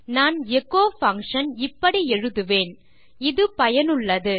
நான் echo function இப்படி எழுதுவேன் - இது பயனுள்ளது